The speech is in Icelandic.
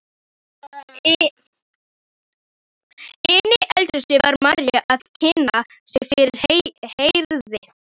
Inni í eldhúsi var María að kynna sig fyrir Herði.